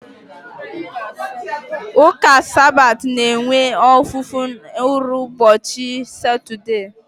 Ụka Sabat na-enwe ofufe nru n'ụbọchị Satọdee.